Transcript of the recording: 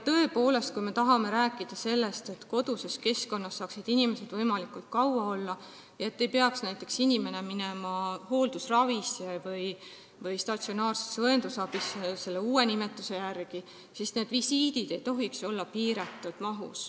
Tõepoolest, kui me tahame, et inimesed saaksid võimalikult kaua olla koduses keskkonnas ega peaks näiteks minema hooldusravisse või uue nimetuse järgi statsionaarsesse õendusabisse, siis koduvisiitide maht ei tohiks olla piiratud.